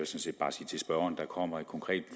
set bare sige til spørgeren at der kommer et konkret